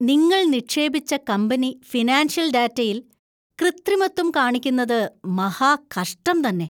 നിങ്ങൾ നിക്ഷേപിച്ച company financial ഡാറ്റയിൽ കൃത്രിമത്വം കാണിക്കുന്നത് മഹാകഷ്ടം തന്നെ .